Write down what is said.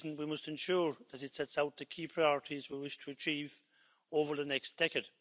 this reason, we must ensure that it sets out the key priorities we wish to achieve over the next decade.